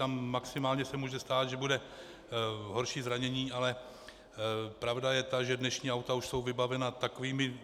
Tam maximálně se může stát, že bude horší zranění, ale pravda je ta, že dnešní auta už jsou vybavena takovými,